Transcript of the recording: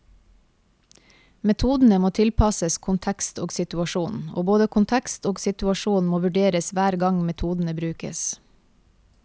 Metodene må tilpasses kontekst og situasjon, og både kontekst og situasjon må vurderes hver gang metodene brukes.